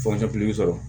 sɔrɔ